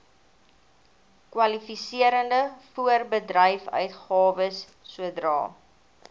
kwalifiserende voorbedryfsuitgawes sodra